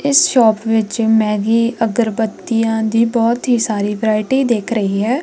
ਇਸ ਸ਼ੋਪ ਵਿੱਚ ਮੈਗੀ ਅਗਰਬੱਤੀਆ ਦੀ ਬਹੁਤ ਹੀ ਸਾਰੀ ਵਰਾਇਟੀ ਦਿਖ ਰਹੀ ਹੈ।